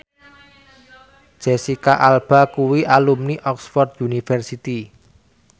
Jesicca Alba kuwi alumni Oxford university